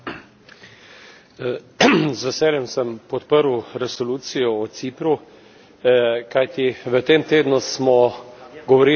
Z veseljem sem podprl resolucijo o Cipru, kajti v tem tednu smo govorili na